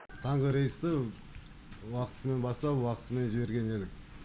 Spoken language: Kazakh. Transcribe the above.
таңғы рейсті уақытысымен бастап уақытысымен жіберген едік